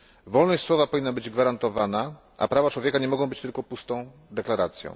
Wolność słowa powinna być gwarantowana, a prawa człowieka nie mogą być tylko pustą deklaracją.